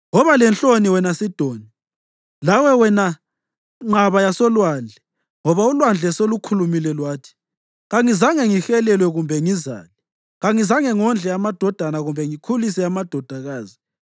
Woba lenhloni wena Sidoni, lawe wena nqaba yasolwandle ngoba ulwandle selukhulumile lwathi: kangizange ngihelelwe kumbe ngizale; “Kangizange ngondle amadodana kumbe ngikhulise amadodakazi.”